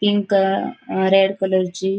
pink uh uh red कलरची --